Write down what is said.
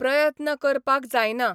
प्रयत्न करपाक जायना.